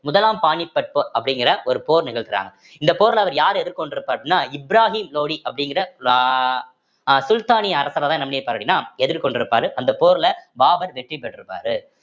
முதலாம் பானிபட் போர் அப்படிங்கிற ஒரு போர் நிகழ்த்துறாங்க இந்த போர்ல அவர் யார எதிர்கொண்டிருப்பார் அப்படின்னா இப்ராஹிம் லோடி அப்படிங்கிற அஹ் சுல்தானிய அரசரைதான் என்ன பண்ணிருப்பாரு அப்படின்னா எதிர்கொண்டிருப்பாரு அந்த போர்ல பாபர் வெற்றி பெற்றிருப்பாரு